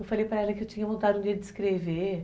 Eu falei para ela que eu tinha vontade um dia de escrever, né?